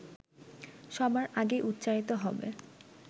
সবার আগেই উচ্চারিত হবে